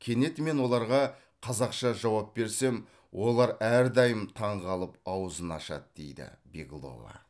кенет мен оларға қазақша жауап берсем олар әрдайым таңғалып аузын ашады дейді беглова